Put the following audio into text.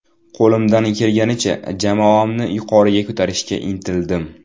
Qo‘limdan kelganicha jamoani yuqoriga ko‘tarishga intildim.